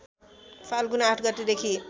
फाल्गुन ८ गतेदेखि